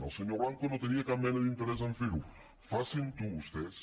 el senyor blanco no tenia cap mena d’interès a fer ho facin ho vostès